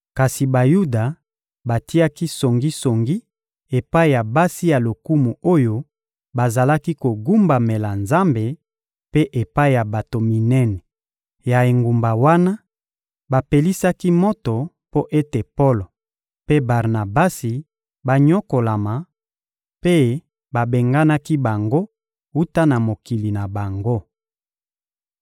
Kasi Bayuda batiaki songisongi epai ya basi ya lokumu oyo bazalaki kogumbamela Nzambe, mpe epai ya bato minene ya engumba wana; bapelisaki moto mpo ete Polo mpe Barnabasi banyokolama, mpe babenganaki bango wuta na mokili na bango.